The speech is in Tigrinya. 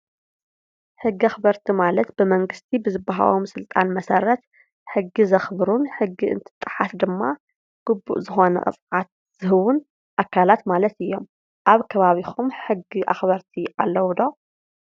ሕጊ ኣኽበርቲ ማለት ብመንግስቲ ብዝባሃቦም ስልጣን መሰረት ሕጊ ዘኽብሩን ሕጊ እንትጣሓስ ድማ ግቡእ ዝኾነ ቅፅዓት ዝህቡን ኣካላት ማለት እዮም። ኣብ ከባቢኹም ሕጊ ኣኽበርቲ ኣለዉ ዶ?